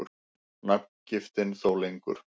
Nafngiftin þó lengur.